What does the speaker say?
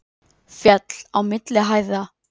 Féll á milli hæða